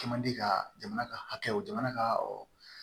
Kɛ man di ka jamana ka hakɛw jamana ka